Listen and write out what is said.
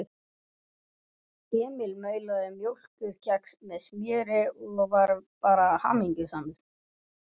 Emil maulaði mjólkurkex með smjöri og var bara hamingjusamur.